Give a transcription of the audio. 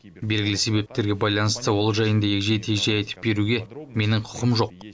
белгілі себептерге байланысты ол жайында егжей тегжей айтып беруге менің құқым жоқ